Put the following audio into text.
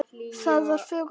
Það var fögur sjón.